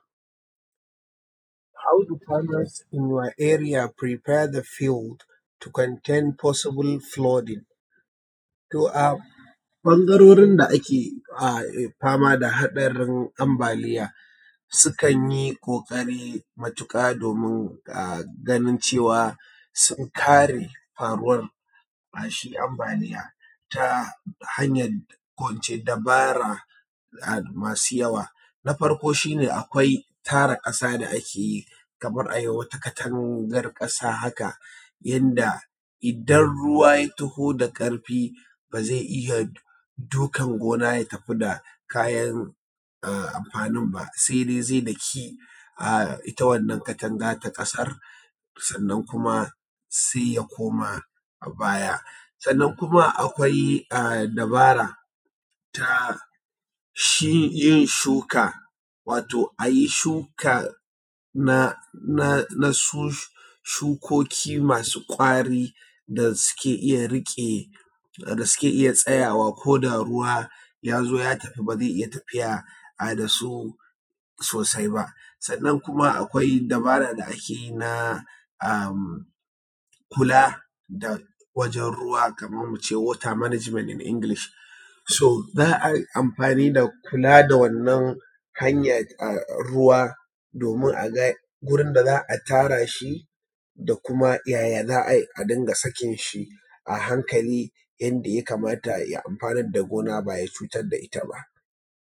How do farmers in your area prepare the field to contain possible flooding? To a ɓangaririn da ake fama da haɗarin ambaliya sukan yi ƙoƙari matuƙa domin ganin cewa sun kare faruwan shi ambaliya ta hanyan ko ince dabara masu yawa. Na farko shi me akwai tara ƙasa da ake yi, kamar a yi wata katangar ƙasa haka yadda idan ruwa ta taho da ƙarfi ba zai iya dukan gona ya tafi da kayan amfanin ba, sai dai zai daki ita wannan Katanga ta ƙasar, sannan sai kuma sai ya ko ma baya. Sannan kuma akwai dabara ta shi yin shuka, wato a yi shuka na shukoki masu ƙwari da suke iya riƙe, da suke iya tsayawa koda ruwa ya zo ya tafi ba zai iya tafiya da su sosai ba. Sannan kuma akwai dabbara da ake yi na kula da wajan ruwa kaman mu ce water management in English, za a yi amfani da kula da wannan hanya ruwa domin a ga gurin da za a tara shi, da kuma yaya za a yi a ringa sakin shi a hankali yanda ya kamata ya amfanarnda gona ba ya cutar da ita ba.